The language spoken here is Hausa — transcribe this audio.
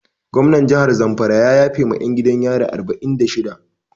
Gomnan jahar zamfara ya yafe ma 'yan gidan yari arba'in da shida.